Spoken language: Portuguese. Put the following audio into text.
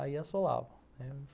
Aí assolava.